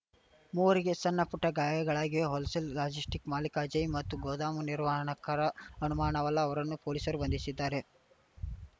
ಮೂವರಿಗೆ ಸಣ್ಣಪುಟ್ಟಗಾಯಗಳಾಗಿವೆ wholesale logistic ಮಾಲಿಕ ಅಜಯ್‌ ಮತ್ತು ಗೋದಾಮು ನಿರ್ವಹಣಕಾರ ಅಮಾನುವಲ್ಲ ಅವರನ್ನು ಪೊಲೀಸರು ಬಂಧಿಶಿದ್ದಾರೆ